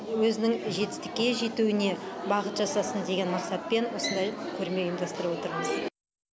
өзінің жетістікке жетуіне бағыт жасасын деген мақсатпен осындай көрме ұйымдастырып отырмыз